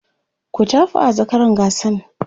ku tafawa zakaran gasan!